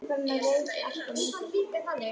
Var þá ekkert úr járni á eiröld?